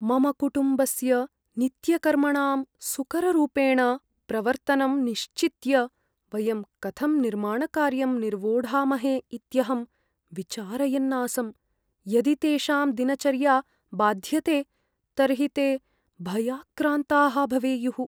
मम कुटुम्बस्य नित्यकर्मणां सुकररूपेण प्रवर्तनं निश्चित्य वयं कथं निर्माणकार्यं निर्वोढामहे इत्यहं विचारयन् आसम्। यदि तेषां दिनचर्या बाध्यते तर्हि ते भयाक्रान्ताः भवेयुः।